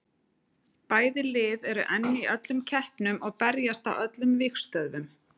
Bæði lið eru enn í öllum keppnum og berjast á öllum vígstöðvum.